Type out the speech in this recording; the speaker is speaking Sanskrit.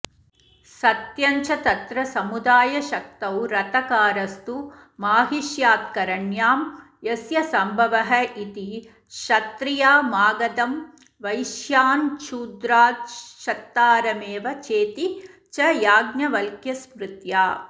सत्यञ्च तत्र समुदायशक्तौ रथकारस्तु माहिष्यात्करण्यां यस्य सम्भवः इति क्षत्त्रिया मागधं वैश्याच्छूद्रात्क्षत्तारमेव चेति च याज्ञवल्क्यस्मृत्या